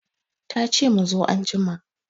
Tace mu zo anjima